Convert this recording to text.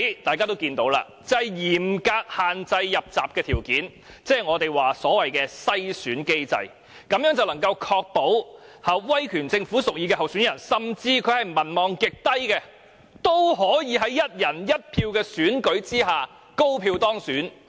大家都看到，就是嚴格限制"入閘"條件，即是我們所謂的"篩選機制"，這樣便能夠確保威權政府屬意的候選人，甚至他是民望極低的人，都可以在"一人一票"的選舉下高票當選。